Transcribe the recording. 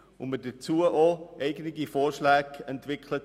Wir haben dazu auch eigene Vorschläge entwickelt.